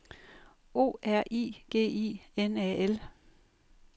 O R I G I N A L